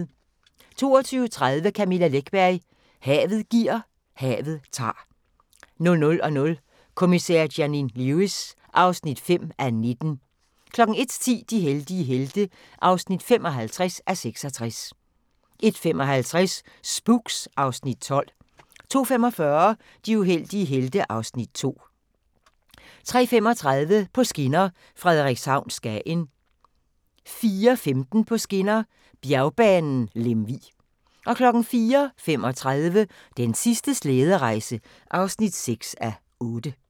22:30: Camilla Läckberg: Havet giver, havet tager 00:00: Kommissær Janine Lewis (5:19) 01:10: De heldige helte (55:66) 01:55: Spooks (Afs. 12) 02:45: De uheldige helte (Afs. 2) 03:35: På skinner: Frederikshavn – Skagen 04:15: På skinner: Bjergbanen Lemvig 04:35: Den sidste slæderejse (6:8)